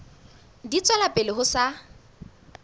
di tswela pele ho sa